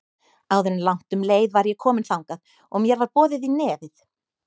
Áður en langt um leið var ég komin þangað og mér var boðið í nefið.